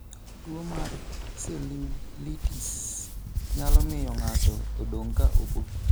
Tuwo mar cellulitis nyalo miyo ng'ato odong ' ka obo.